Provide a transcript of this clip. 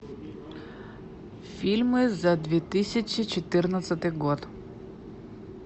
фильмы за две тысячи четырнадцатый год